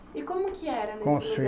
E como que era nesse. Com os filhos